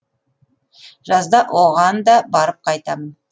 жазда оған да барып қайтамын